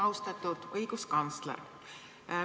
Austatud õiguskantsler!